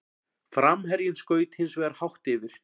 Framherjinn skaut hins vegar hátt yfir.